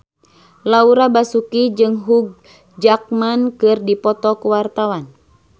Laura Basuki jeung Hugh Jackman keur dipoto ku wartawan